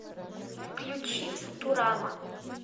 включи футурама